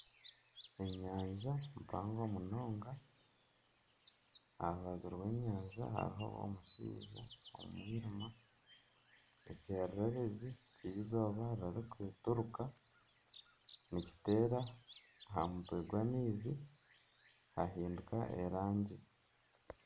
Enyanja mpango munonga, aha rubaju rw'enyanja hariho omushaija omu mwirima, ekyererezi ky'eizooba ririkuturuka nikiteera aha mutwe gw'amaizi hahinduka erangi